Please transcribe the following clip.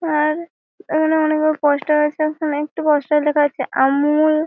আর এখানে অনেকগুলো পোস্টার আছে এখানে একটি পোস্টার দেখা যাচ্ছে ।আমূল--